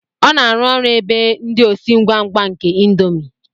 Ọ na-arụ ọrụ ebe ndị osi ngwa ngwa nke índomi